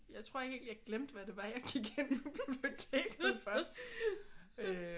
Jeg tror helt jeg glemte hvad det var jeg gik ind på biblioteket for